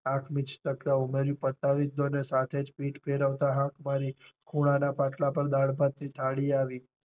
આંખ મિચતા પતાવી જ દયો ને સાથે જ પીઠ ફેરવતા આંખ મારી ખૂણા ના પાટલા પર દાળ ભાત ની થાળી આવી.